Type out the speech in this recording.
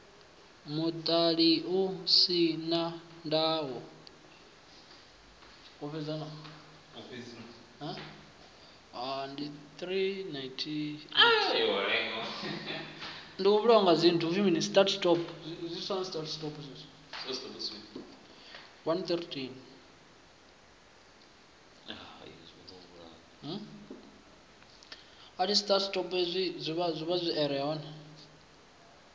muṱani u si na ndayo